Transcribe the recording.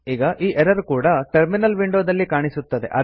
ಈಗ ಈ ಎರರ್ ಕೂಡಾ ಟರ್ಮಿನಲ್ ವಿಂಡೋದಲ್ಲಿ ಕಾಣಿಸುತ್ತದೆ